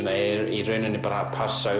í rauninni bara að passa